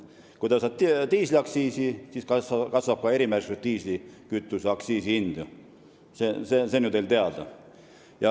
Kui tõstad diisliaktsiisi, siis kasvab ka erimärgistusega diislikütuse hind, see on ju teada.